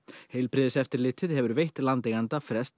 heilbrigðiseftirlitið hefur veitt landeiganda frest